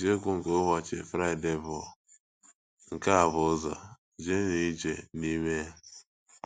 Isiokwu nke ụbọchị Friday bụ “ Nke A Bụ Ụzọ, Jeenụ Ije n’Ime Ya. ”